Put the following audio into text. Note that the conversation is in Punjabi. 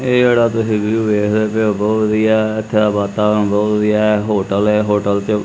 ਇਹ ਜਿਹੜਾ ਤੁਸੀਂ ਵਿਊ ਦੇਖਦੇ ਪਏ ਹੋ ਬਹੁਤ ਵਧੀਆ ਹੈ ਇਥੇ ਦਾ ਵਾਤਾਵਰਣ ਬਹੁਤ ਵਧੀਆ ਹੈ ਹੋਟਲ ਹੈ ਹੋਟਲ ਤੇ --